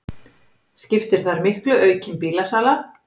Skiptir þar miklu aukin bílasala